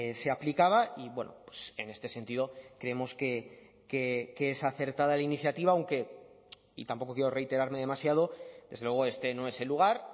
se aplicaba y bueno en este sentido creemos que es acertada la iniciativa aunque y tampoco quiero reiterarme demasiado desde luego este no es el lugar